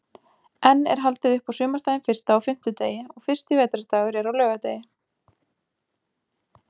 Enn er haldið upp á sumardaginn fyrsta á fimmtudegi og fyrsti vetrardagur er á laugardegi.